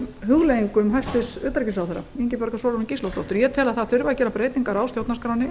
hugleiðingum hæstvirts utanríkisráðherra ingibjargar sólrúnar gísladóttur ég tel að það þurfi að gera breytingar á stjórnarskránni